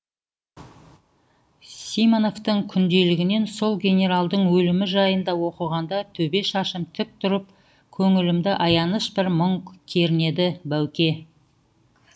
симоновтың күнделігінен сол генералдың өлімі жайында оқығанда төбе шашым тік тұрып көңілімді аяныш бір мұң кернеді бауке